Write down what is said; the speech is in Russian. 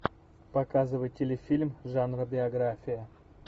показывай телефильм жанра биография